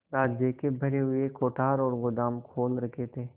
राज्य के भरे हुए कोठार और गोदाम खोल रखे थे